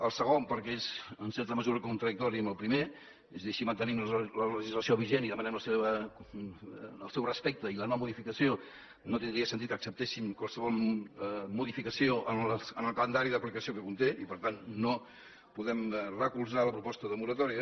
el segon perquè és en certa mesura contradictori amb el primer és a dir si mantenim la legislació vigent i demanem el seu respecte i la no modificació no tindria sentit que acceptéssim qualsevol modificació en el calendari d’aplicació que conté i per tant no podem recolzar la proposta de moratòria